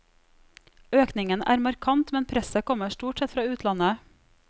Økningen er markant, men presset kommer stort sett fra utlandet.